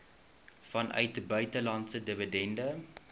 vanuit buitelandse dividende